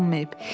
Alınmayıb.